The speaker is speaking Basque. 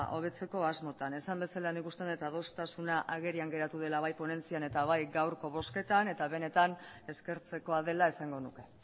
hobetzeko asmotan esan bezala nik uste dut adostasuna agerian geratu dela bai ponentzian eta bai gaurko bozketan eta benetan eskertzekoa dela esango nuke